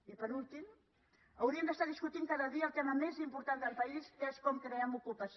i per últim hauríem d’estar discutint cada dia el tema més important del país que és com creem ocupació